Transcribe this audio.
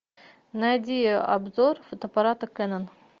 найди обзор фотоаппарата кэнон